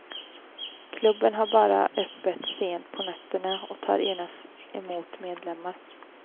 Klubben har bara öppet sent på nätterna och tar endast emot medlemmar.